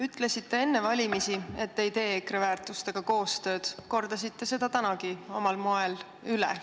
Ütlesite enne valimisi, et te ei tee EKRE-ga nende väärtuste korral koostööd, ja kordasite seda tänagi omal moel üle.